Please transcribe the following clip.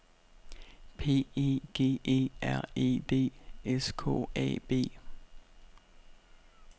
P E G E R E D S K A B